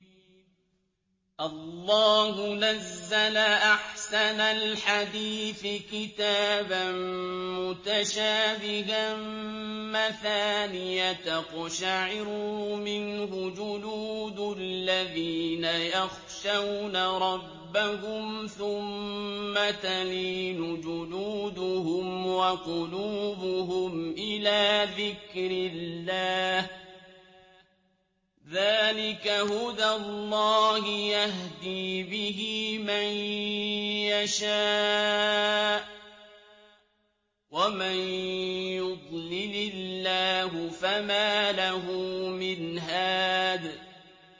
اللَّهُ نَزَّلَ أَحْسَنَ الْحَدِيثِ كِتَابًا مُّتَشَابِهًا مَّثَانِيَ تَقْشَعِرُّ مِنْهُ جُلُودُ الَّذِينَ يَخْشَوْنَ رَبَّهُمْ ثُمَّ تَلِينُ جُلُودُهُمْ وَقُلُوبُهُمْ إِلَىٰ ذِكْرِ اللَّهِ ۚ ذَٰلِكَ هُدَى اللَّهِ يَهْدِي بِهِ مَن يَشَاءُ ۚ وَمَن يُضْلِلِ اللَّهُ فَمَا لَهُ مِنْ هَادٍ